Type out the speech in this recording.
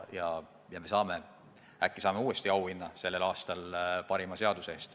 Ja äkki saame uuesti auhinna sellel aastal parima seaduse eest.